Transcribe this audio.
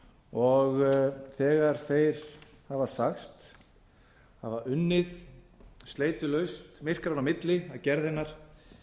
og þegar þeir hafa sagst hafa unnið sleitulaust myrkranna á milli að gerð hennar